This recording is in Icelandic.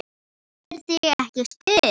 Vantar þig ekki stuð?